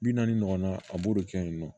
Bi naani ɲɔgɔn na a b'o de kɛ yen nɔ